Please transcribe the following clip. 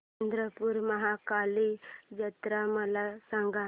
चंद्रपूर महाकाली जत्रा मला सांग